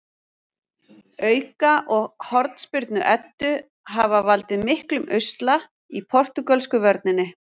Auka- og hornspyrnu Eddu hafa valdið miklum usla í portúgölsku vörninni.